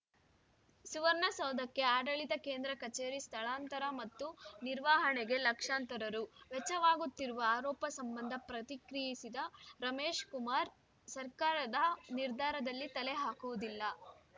ಸುವರ್ಣ ಸೌಧಕ್ಕೆ ಆಡಳಿತ ಕೇಂದ್ರ ಕಚೇರಿ ಸ್ಥಳಾಂತರ ಮತ್ತು ನಿರ್ವಹಣೆಗೆ ಲಕ್ಷಾಂತರ ರು ವೆಚ್ಚವಾಗುತ್ತಿರುವ ಆರೋಪ ಸಂಬಂಧ ಪ್ರತಿಕ್ರಿಯಿಸಿದ ರಮೇಶ್‌ ಕುಮಾರ್‌ ಸರ್ಕಾರದ ನಿರ್ಧಾರದಲ್ಲಿ ತಲೆ ಹಾಕುವುದಿಲ್ಲ